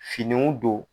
Finiw don